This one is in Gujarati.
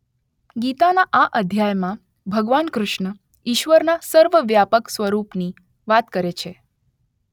ગીતાના આ અધ્યાયમાં ભગવાન કૃષ્ણ ઇશ્વરના સર્વવ્યાપક સ્વરૂપની વાત કરે છે.